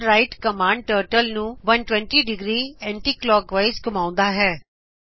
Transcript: turn right command turtle ਨੂੰ 120 degree anticlockwise ਘੁਮਾਓਂਦੀ ਹੈ